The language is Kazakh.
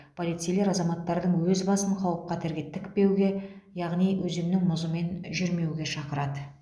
полицейлер азаматтардың өз басын қауіп қатерге тікпеуге яғни өзеннің мұзымен жүрмеуге шақырады